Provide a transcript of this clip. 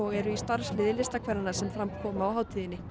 eru í starfsliði listakvennanna sem fram koma á hátíðinni